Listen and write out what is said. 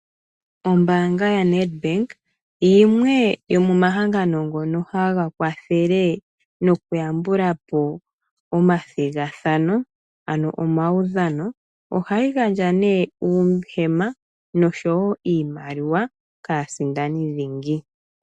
Ombaanga yaNedbank yimwe yomomahangano ngoka haga kwathele nokuyambula po omathigathano ano omaudhano, ohayi gandja ne uuhema osho wo iimaliwa kaasindani dhingi.